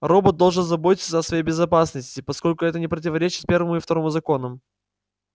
робот должен заботиться о своей безопасности поскольку это не противоречит первому и второму законам